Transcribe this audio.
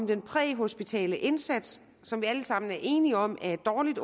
den præhospitale indsats som vi alle sammen er enige om er et dårligt